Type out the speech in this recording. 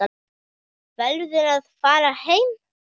Verður að fara heim.